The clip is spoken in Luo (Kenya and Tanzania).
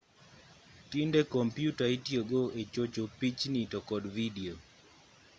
tinde kompyuta itiyo go e chocho pichni to kod vidio